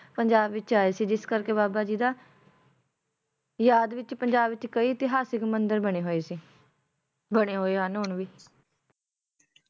ਪੰਜਾਬ ਵਿੱਚ ਆਏ ਸੀ ਜਿਸ ਕਰਕੇ ਬਾਬਾ ਜੀ ਦਾ ਯਾਦ ਵਿੱਚ ਪੰਜਾਬ ਵਿੱਚ ਕਈ ਇਤਿਹਾਸਿਕ ਮੰਦਿਰ ਬਣੇ ਹੋਏ ਸੀ ਬਣੇ ਹੋਏ ਹਨ ਹੁਣ ਵੀ